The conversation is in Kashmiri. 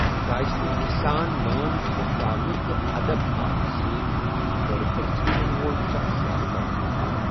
شائستگی سان لٲن پھُٹراونہٕ تہٕ ادب ہاونہٕ سۭتۍ كٕرِ پرژھنہٕ یِنہٕ وول شخص زیادٕتر آنٛكار ۔